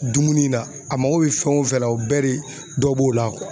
Dumuni na a mako bɛ fɛn o fɛn la o bɛ de dɔ b'o la